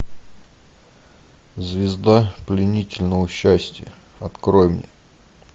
звезда пленительного счастья открой мне